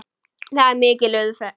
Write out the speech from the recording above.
Þar er mikil umferð.